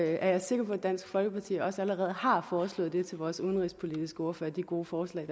er jeg sikker på at dansk folkeparti også allerede har foreslået vores udenrigspolitiske ordfører de gode forslag